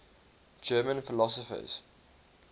german philosophers